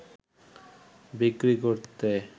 বিক্রি করতে